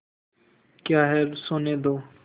क्या है सोने दो